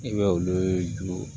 I bɛ olu juru